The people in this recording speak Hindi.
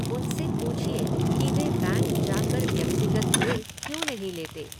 उनसे पूछिए कि वे बैंक जाकर व्यक्तिगत ऋण क्यों नहीं लेते।